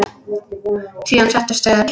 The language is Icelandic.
Síðan settust þau öll.